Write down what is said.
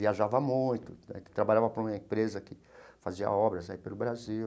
Viajava muito, trabalhava para uma empresa que fazia obras aí pelo Brasil.